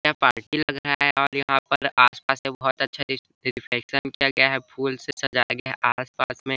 यहाँ पे पार्टी लग रहा है और यहाँ पे आस-पास बहुत में बहोत अच्छा डेकोरेशन किया गया है फूल से सजाया गया है आस-पास में--